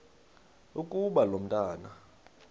ukuba lo mntwana